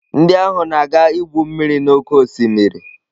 Ndị ahụ na-aga igwu mmiri n'oké osimiri.